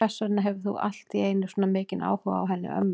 Hvers vegna hefur þú allt í einu svona mikinn áhuga á henni ömmu?